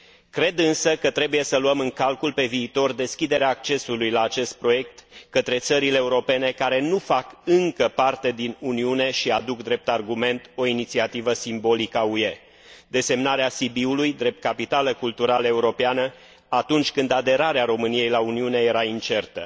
Cred însă că trebuie să luăm în calcul pe viitor deschiderea accesului la acest proiect către țările europene care nu fac încă parte din Uniune și aduc drept argument o inițiativă simbolică a UE desemnarea Sibiului drept capitală culturală europeană atunci când aderarea României la Uniune era incertă.